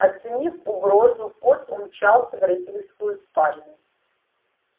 оценив угрозу кот умчался в родительскую спальню